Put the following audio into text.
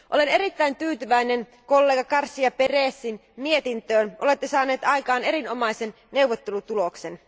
Olen erittäin tyytyväinen kollega García Pérezin mietintöön, olette saanut aikaan erinomaisen neuvottelutuloksen.